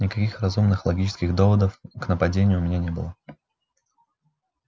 никаких разумных логических доводов к нападению у меня не было